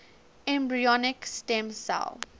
embryonic stem cell